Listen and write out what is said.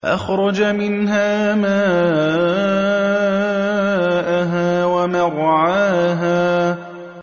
أَخْرَجَ مِنْهَا مَاءَهَا وَمَرْعَاهَا